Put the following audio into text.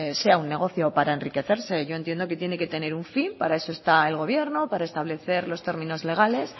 sea un negocio para enriquecerse yo entiendo que tiene que tener un fin para eso está el gobierno para establecer los términos legales